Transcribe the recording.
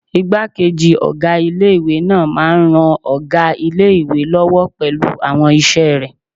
Ìgbákejì ọgá ilé-ìwé náà máa n ran ọgá ilé-ìwé lọ́wọ́ pẹ̀lú àwọn iṣẹ́ rẹ̀